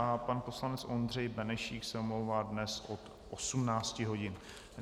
A pan poslanec Ondřej Benešík se omlouvá dnes od 18 hodin.